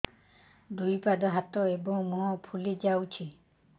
ଦୁଇ ପାଦ ହାତ ଏବଂ ମୁହଁ ଫୁଲି ଯାଉଛି